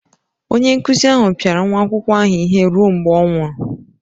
Onye nkụzi ahụ pịara nwa akwụkwọ ahụ ihe ruo mgbe ọ nwụrụ.